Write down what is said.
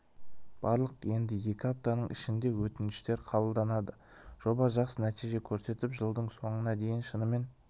бардық енді екі аптаның ішінде өтініштер қабылданады жоба жақсы нәтиже көрсетіп жылдың соңына дейін шынымен